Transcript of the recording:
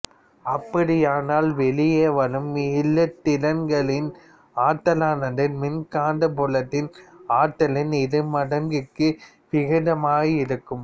அப்படியானால் வெளியே வரும் இலத்திரன்களின் ஆற்றலானது மின்காந்தப்புலத்தின் ஆற்றலின் இருமடங்கிற்கு விகிதமாயிருக்கும்